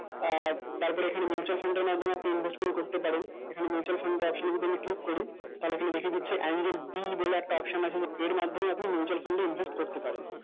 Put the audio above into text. আহ তারপর এইখানে mutual fund এর মানধমে আপনি এইখানে invesment করতে পারেন এইখানে mutual fund option এ click করি তাহলে দেখা দিচ্ছে angel b একটা option আছে এর মাধ্যমে আপনি mutual fund এ invest করতে পারেন